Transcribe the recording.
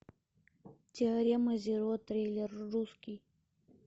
теорема зеро триллер русский